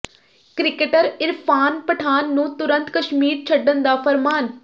cricketer Irfan Pathan ਨੂੰ ਤੁਰੰਤ ਕਸ਼ਮੀਰ ਛੱਡਣ ਦਾ ਫ਼ਰਮਾਨ